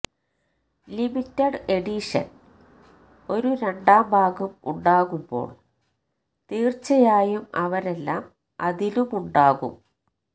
limited edition ഒരു രണ്ടാം ഭാഗം ഉണ്ടാകുമ്പോൾ തീർച്ചയായും അവരെല്ലാം അതിലുമുണ്ടാകും